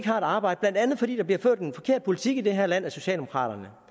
har et arbejde blandt andet fordi der bliver ført en forkert politik i det her land af socialdemokraterne